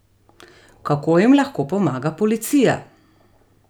Kako jim lahko pomaga policija?